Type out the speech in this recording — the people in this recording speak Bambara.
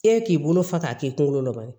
E k'i bolo fa a k'i kunkolo dɔni